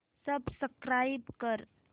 subscribe कर